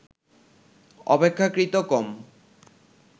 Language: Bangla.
অপেক্ষাকৃত কম